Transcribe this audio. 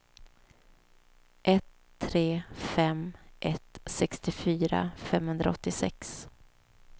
ett tre fem ett sextiofyra femhundraåttiosex